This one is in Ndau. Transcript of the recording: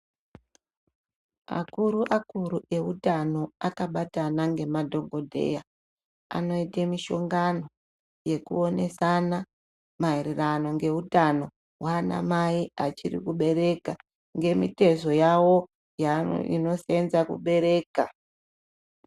Akuru akuru eutano akabatana ngemadhokodheya anoite mishongano yekuonesana maererano ngeutano hwana mai vachiri kubereka ngemitezo yawo inosenza kubereka.